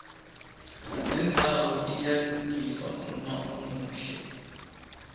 nendzawo iyalungiswa uma umuhle